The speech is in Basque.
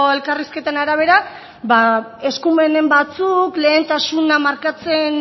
elkarrizketen arabera ba eskumenen batzuk lehentasuna